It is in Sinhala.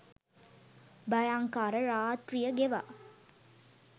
භයංකර රාත්‍රිය ගෙවා